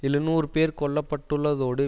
எழுநூறு பேர் கொல்ல பட்டுள்ளதோடு